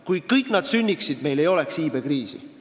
Kui nad kõik sünniksid, ei oleks meil iibekriisi.